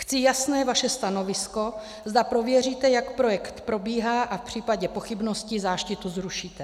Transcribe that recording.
Chci vaše jasné stanovisko, zda prověříte, jak projekt probíhá, a v případě pochybnosti záštitu zrušíte.